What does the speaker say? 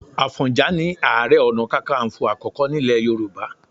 Àfọ̀njà ni Ààrẹ Ọ̀nà Kakaǹfò àkọ́kọ́ nílẹ̀ Yorùbá